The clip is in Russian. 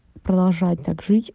продолжать так жить